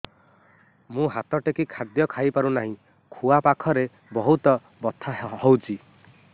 ମୁ ହାତ ଟେକି ଖାଦ୍ୟ ଖାଇପାରୁନାହିଁ ଖୁଆ ପାଖରେ ବହୁତ ବଥା ହଉଚି